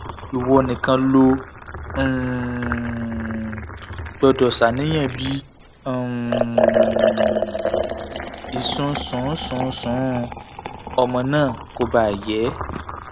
ìwọ nìkan ló um gbọdọ ṣàníyàn bí um ìsúnsúnsúnsún ọmọ náà kò bá yẹ